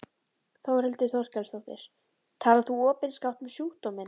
Þórhildur Þorkelsdóttir: Talar þú opinskátt um sjúkdóminn?